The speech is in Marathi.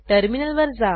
टर्मिनलवर जा